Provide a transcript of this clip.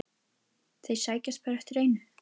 Þeir sækjast bara eftir einu.